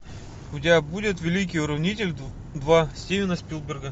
у тебя будет великий уравнитель два стивена спилберга